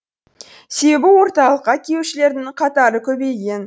себі орталыққа келушілердің қатары көбейген